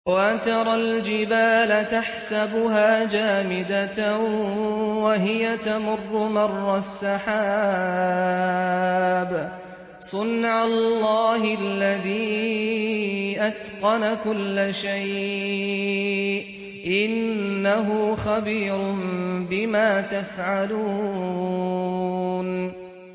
وَتَرَى الْجِبَالَ تَحْسَبُهَا جَامِدَةً وَهِيَ تَمُرُّ مَرَّ السَّحَابِ ۚ صُنْعَ اللَّهِ الَّذِي أَتْقَنَ كُلَّ شَيْءٍ ۚ إِنَّهُ خَبِيرٌ بِمَا تَفْعَلُونَ